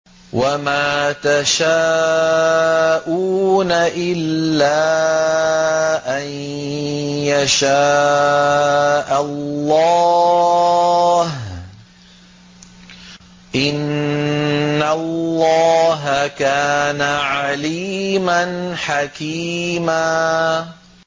وَمَا تَشَاءُونَ إِلَّا أَن يَشَاءَ اللَّهُ ۚ إِنَّ اللَّهَ كَانَ عَلِيمًا حَكِيمًا